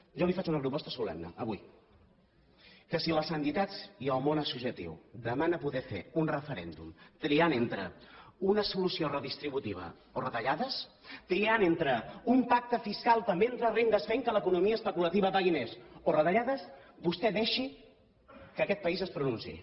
jo li faig una proposta solemne avui que si les entitats i el món associatiu demanen poder fer un referèndum triant entre una solució redistributiva o retallades triant entre un pacte fiscal també entre rendes fent que l’economia especulativa pagui més o retallades vostè deixi que aquest país es pronunciï